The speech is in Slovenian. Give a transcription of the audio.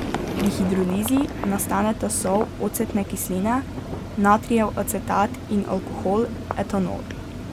Pri hidrolizi nastaneta sol ocetne kisline, natrijev acetat in alkohol, etanol.